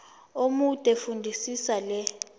omude fundisisa le